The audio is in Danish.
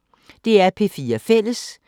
DR P4 Fælles